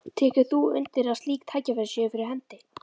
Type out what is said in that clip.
Tekur þú undir að slík tækifæri séu fyrir hendi?